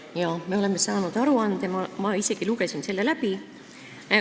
Jaa, me oleme saanud aruande, ma isegi lugesin selle läbi.